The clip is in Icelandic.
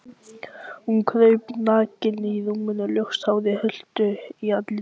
Hún kraup nakin á rúminu, ljóst hárið huldi andlitið.